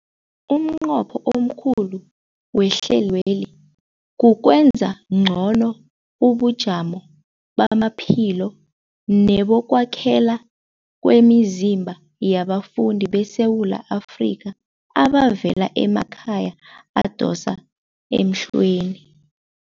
Umnqopho omkhulu wehlelweli kukwenza ngcono ubujamo bamaphilo nebokwakhela kwemizimba yabafundi beSewula Afrika abavela emakhaya adosa emhlweni.